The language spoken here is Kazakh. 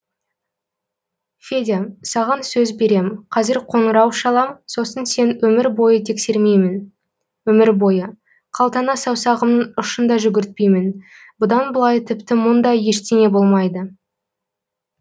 федя саған сөз берем қазір қоңырау шалам сосын сені өмір бойы тексермеймін өмір бойы қалтаңа саусағымның ұшын да жүгіртпеймін бұдан былай тіпті мұндай ештеңе болмайды